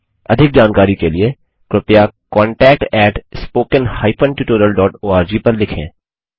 अधिक जानकारी के लिए कृपया contactspoken tutorialorg पर लिखें